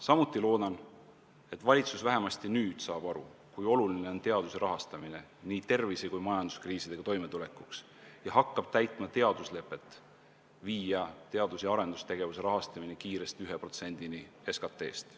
Samuti loodan, et valitsus vähemasti nüüd saab aru, kui oluline on teaduse rahastamine nii tervise- kui ka majanduskriisidega toimetulekuks, ja hakkab täitma lepet, et teadus- ja arendustegevuse rahastamine tuleb kiiresti viia 1%-ni SKT-st.